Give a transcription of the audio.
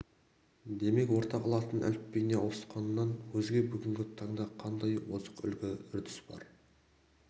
демек ортақ латын әліпбиіне ауысқаннан өзге бүгінгі таңда қандай озық үлгі-үрдіс бар